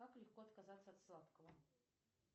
как легко отказаться от сладкого